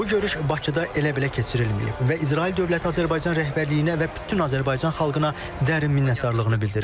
Bu görüş Bakıda elə-belə keçirilməyib və İsrail dövləti Azərbaycan rəhbərliyinə və bütün Azərbaycan xalqına dərin minnətdarlığını bildirir.